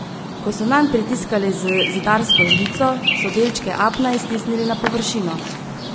Ko so nanj pritiskali z zidarsko žlico, so delčke apna iztisnili na površino.